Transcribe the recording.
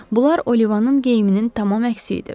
Bunlar Olivanın geyiminin tamam əksi idi.